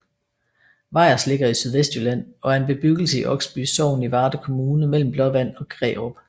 Vejers ligger i Sydvestjylland og er en bebyggelse i Oksby Sogn i Varde Kommune mellem Blåvand og Grærup